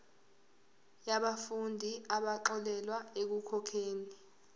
yabafundi abaxolelwa ekukhokheni